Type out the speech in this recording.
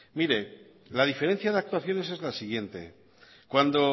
mire la diferencia de actuaciones es la siguiente cuando